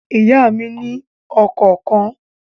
Ìyá mí ni ọkọ̀ kan